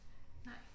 Nej